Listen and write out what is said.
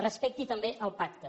respecti també el pacte